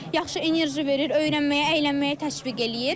Yaxşı enerji verir, öyrənməyə, əylənməyə təşviq eləyir.